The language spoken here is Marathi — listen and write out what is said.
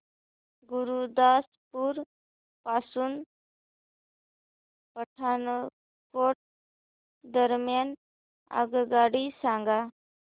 गुरुदासपुर पासून पठाणकोट दरम्यान आगगाडी सांगा